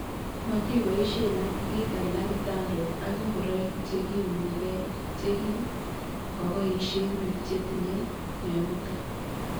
Matiboishe ak biik alak kitandok ak ngoroik chekiunegei chekikoboishe biik chetinye mionitok